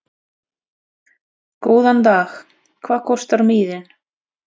Góðan dag. Hvað kostar miðinn?